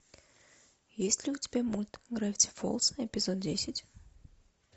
есть ли у тебя мульт гравити фолз эпизод десять